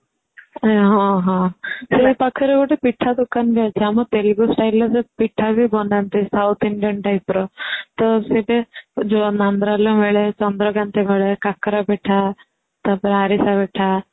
ହଁ ହଁ ସେ ପାଖରେ ଗୋଟେ ପିଠା ଦୋକାନ ବି ଅଛି ଆମ ତେଲୁଗୁ style ରେ ସେ ପିଠା ବି ବନାନ୍ତି South Indian type ର ତ ସେଇଠି ମିଳେ ଚନ୍ଦ୍ରକ୍ରାନ୍ତି ଭଳି କାକରା ପିଠା ତା ପରେ ଆରିସା ପିଠା .